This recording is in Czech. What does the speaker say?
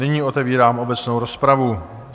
Nyní otevírám obecnou rozpravu.